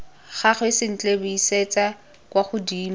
gagwe sentle buisetsa kwa godimo